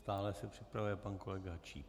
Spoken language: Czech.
Stále se připravuje pan kolega Číp.